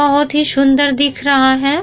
बहोत ही सुन्दर दिख रहा है।